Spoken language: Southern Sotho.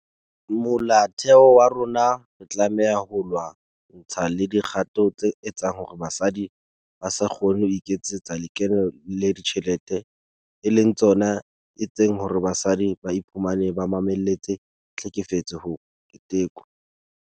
Molaotheo wa rona re tlameha ho lwa-ntshana le dikgato tse etsang hore basadi ba se kgone ho iketsetsa lekeno le dijthelete e leng tsona etseng hore basadi ba iphumane ba mamelletse tlhekefetso ho ketekwa.